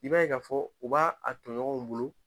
I b'a ye ka fɔ, o b'a a tɔɲɔgɔnw bolo